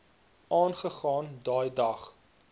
aangegaan daai dag